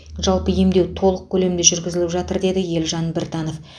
жалпы емдеу толық көлемде жүргізіліп жатыр деді елжан біртанов